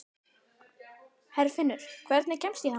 Herfinnur, hvernig kemst ég þangað?